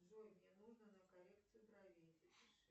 джой мне нужно на коррекцию бровей запиши